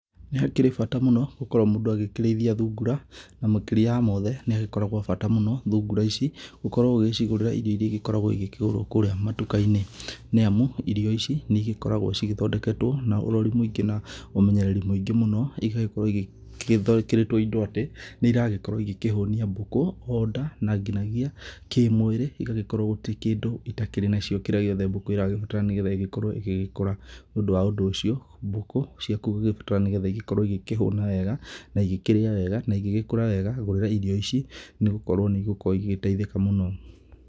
Nĩhakĩrĩ bata mũno, gũkorwo mũndũ agĩkĩrĩithia thungura, na makĩria ya mothe, nĩhagĩkoragwo bata mũno, thungura ici, ũkorwo ũgĩcigũrĩra irio iria igĩkoragwo igĩkĩgũrwo kũrĩa matuka-inĩ, nĩamu, irio ici, nĩigĩkoragwo cigĩthondeketwo na ũrori mũingĩ na ũmenyereri mũingĩ mũno, igagĩkorwo igĩkĩrĩtwo indo atĩ, nĩiragĩkorwo igĩkĩhũnia mbũkũ, o nda, na nginyagia kĩmwĩrĩ igagĩkorwo gũtirĩ kĩndũ itakĩrĩ nacio kĩrĩa gĩothe mbũkũ ĩragĩbatara nĩgetha ĩgĩkorwo ĩgĩgĩkũra. Nĩũndũ wa ũndũ ũcio, mbũkũ ciaku ũgũgĩbatara nĩgetha igĩgĩkorwo igĩkĩhũna wega, naigĩkĩrĩa wega, naigĩgĩkũra wega, gũrĩra irio ici, nĩgũkorwo nĩigũgĩkorwo igĩtaithĩka mũno.